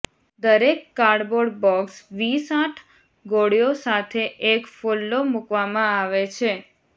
દરેક cardboard box વીસ આઠ ગોળીઓ સાથે એક ફોલ્લો મૂકવામાં આવે છે